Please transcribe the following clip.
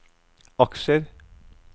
aksjer